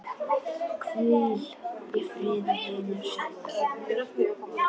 Hvíl í friði vinur sæll.